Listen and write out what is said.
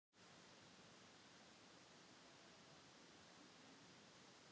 Linda: Hvað segir þú til dæmis með þetta, með ofnæmi fyrir dýrum og þess háttar?